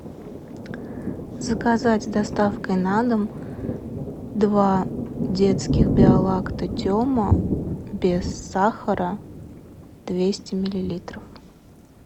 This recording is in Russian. заказать с доставкой на дом два детских биолакта тема без сахара двести миллилитров